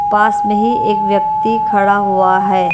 पास में ही एक व्यक्ति खड़ा हुआ है।